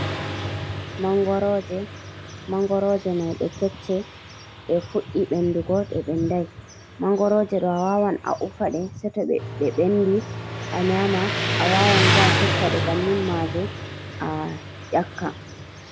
Manngorooje, manngorooje may ɗe kecce, ɗe fuɗɗi ɓenndugo, ɗe ɓenndaay. Manngorooje ɗo a wawan a ufa ɗe, sey to ɗe ɓenndi a nyaama, a wawan bo a setta ɗe, banni maaje a ƴakka.